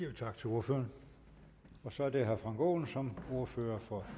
tak til ordføreren så er det herre frank aaen som ordfører for